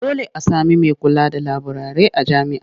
Dole a sami mai kula da laburare a jami'a.